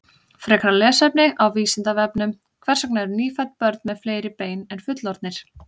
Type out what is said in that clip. Frekara lesefni á Vísindavefnum: Hvers vegna eru nýfædd börn með fleiri bein en fullorðnir?